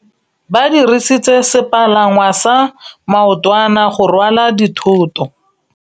Ba dirisitse sepalangwasa maotwana go rwala dithôtô.